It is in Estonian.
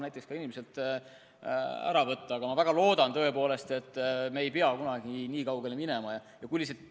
Aga ma tõepoolest väga loodan, et me ei pea kunagi nii kaugele minema.